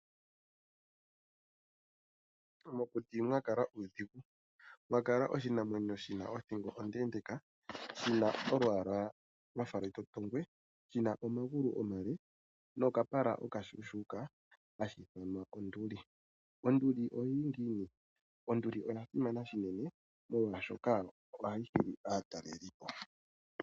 Mokuti mwakala uudhigu. Mwakala oshinamwenyo shina othingo ondeendeeka shina olwaala lwafa lwetotongwe shina omaglu omale nokapala okashuushuuka hashi ithanwa onduli. Onduli oyili ngiini? Onduli oyasimana unene molwashoka ohayi hili aatalelipo.